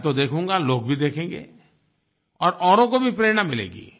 मैं तो देखूँगा लोग भी देखेंगे और औरों को भी प्रेरणा मिलेगी